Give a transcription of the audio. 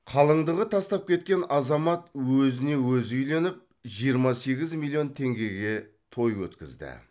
қалыңдығы тастап кеткен азамат өзіне өзі үйленіп жиырма сегіз миллион теңгеге той өткізді